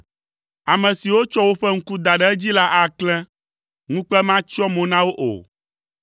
Ame siwo tsɔ woƒe ŋku da ɖe edzi la aklẽ, ŋukpe matsyɔ mo na wo o.